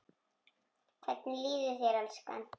Hvernig líður þér, elskan?